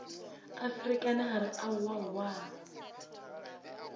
a ferekane a re aowaowa